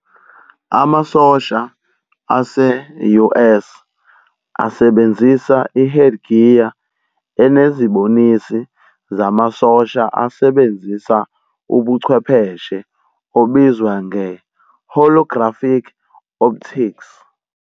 Amasosha ase-US asebenzisa i-headgear enezibonisi zamasosha asebenzisa ubuchwepheshe obizwa nge-holographic Optics.